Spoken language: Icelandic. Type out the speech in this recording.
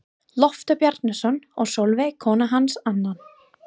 Loftur Bjarnason og Sólveig kona hans annan.